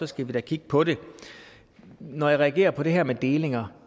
skal vi da kigge på dem når jeg reagerer på det her med delinger